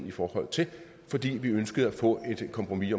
i forhold til fordi vi ønskede at få et kompromis